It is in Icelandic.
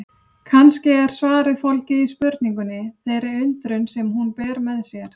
Kannski er svarið fólgið í spurningunni, þeirri undrun sem hún ber með sér.